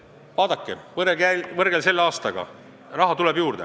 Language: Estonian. Vaadake, võrrelge selle aastaga, ja te näete, et raha tuleb juurde.